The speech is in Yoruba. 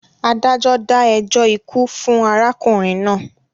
Adájọ́ dá ẹjọ́ ikú fún arákùnrin náà.